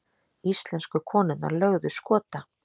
Íslensku konurnar lögðu Skota